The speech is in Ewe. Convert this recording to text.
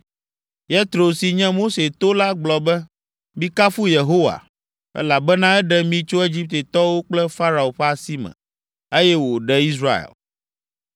Yetro si nye Mose to la gblɔ be, “Mikafu Yehowa, elabena eɖe mi tso Egiptetɔwo kple Farao ƒe asi me, eye wòɖe Israel.